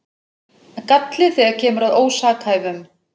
Galli þegar kemur að ósakhæfum